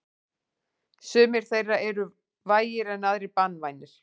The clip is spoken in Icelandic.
Sumir þeirra eru vægir en aðrir banvænir.